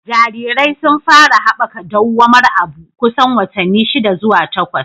Jarirai sun fara haɓaka dawwamar abu kusan watanni shida zuwa takwas.